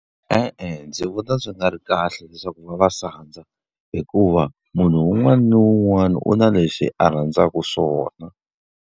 E e ndzi vona swi nga ri kahle leswaku va va sandza, hikuva munhu un'wana na un'wana u na lexi a rhandzaka swona.